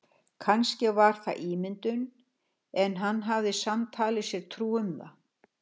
Kannski var það ímyndun en hann hafði samt talið sér trú um það.